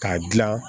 K'a dilan